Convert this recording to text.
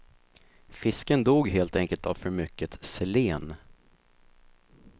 Fisken dog helt enkelt av för mycket selen.